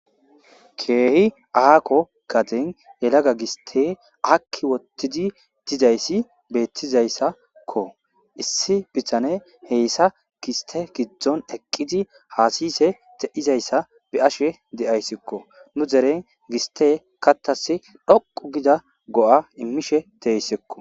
Keehi aako gaden yelaga gistey aakki uttidi dizayssi beettizayssakko. Issi bitaney beysa giste giddon eqqidi haasa'ishe de'izayssa be'ashe de'ayssikko. Nu derey giste kaththas dhoqqu gida go'a immishe de'esikko.